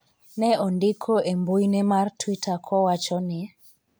ne ondiko e mbuine mar twitter kowacho ni